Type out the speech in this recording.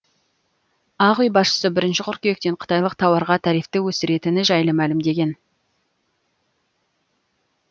ақ үй басшысы бірінші қыркүйектен қытайлық тауарға тарифті өсіретіні жайлы мәлімдеген